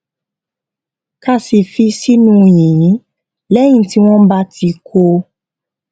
ká sì fi sínú yìnyín léyìn tí wón bá ti kó o